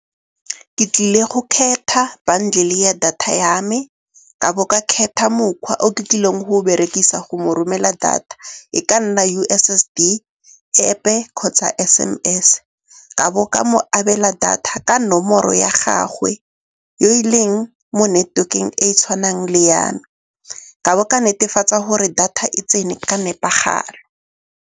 Ke tlile go kgetha bundle-e ya data ya me, ka bo ka kgetha mokgwa o ke tlileng go berekisa go mo romela data, e ka nna U_S_S_D, App-e kgotsa S_M_S. Ka bo ka mo abela data ka nomoro ya gagwe yo e leng mo network-eng e tshwanang le ya me. Ka bo ka netefatsa gore data e tsene ka nepagalo.